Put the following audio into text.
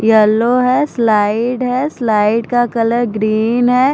Yellow है slide है slide का कलर ग्रीन है।